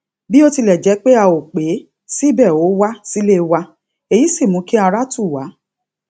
bó tilè jé pé a ò pè é síbè ó wá sílé wa èyí sì mú kí ara tù wá